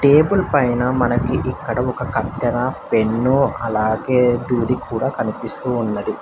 Table పైన మనకి ఇక్కడ ఒక కత్తెర పెన్ను అలాగే దూది కూడ కనిపిస్తూ ఉన్నది.